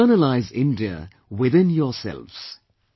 Internalize India within yourselves